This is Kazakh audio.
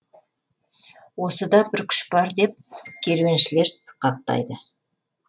осыда бір күш бар деп керуеншілер сықақтайды